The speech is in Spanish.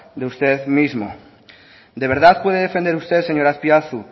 de usted mismo de verdad puede defender usted señor azpiazu